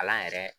Kalan yɛrɛ